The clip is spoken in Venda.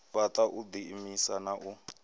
fhaṱa u ḓiimisa na u